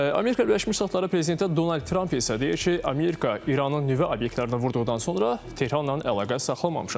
Amerika Birləşmiş Ştatları prezidenti Donald Tramp isə deyir ki, Amerika İranın nüvə obyektlərini vurduqdan sonra Tehranla əlaqə saxlamamışam.